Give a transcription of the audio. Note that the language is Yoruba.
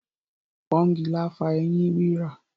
Pọ́ngilá fa ẹyín rírà.